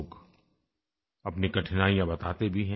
लोग अपनी कठिनाइयाँ बताते भी हैं